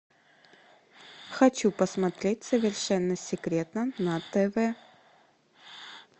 хочу посмотреть совершенно секретно на тв